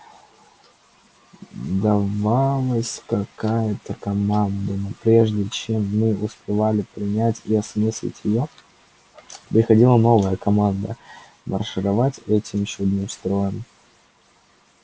давалась какая-то команда но прежде чем мы успевали принять и осмыслить её приходила новая команда маршировать этим чудным строем